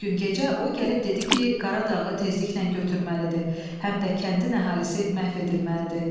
Bir gün gecə o gəlib dedi ki, Qaradağı tezliklə götürməlidir, həm də kəndin əhalisi məhv edilməlidir.